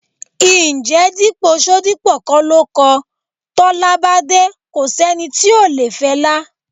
Ǹjẹ́ Dípò Ṣodipọ kọ́ ló kọ: "Tọ́lá bá dé, ko sẹ́ni tí ò le fẹlá..."?